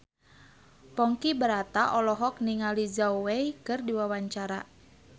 Ponky Brata olohok ningali Zhao Wei keur diwawancara